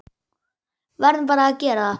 Verðum bara að gera það.